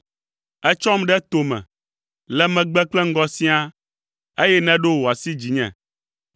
Ètsɔm ɖe tome, le megbe kple ŋgɔ siaa, eye nèɖo wò asi dzinye.